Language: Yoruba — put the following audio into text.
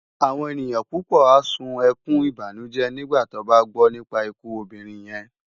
Awòn éniyan púpò á sún èkún ibánújé nigbá tòbá gbò nipá ikú òbirin yèn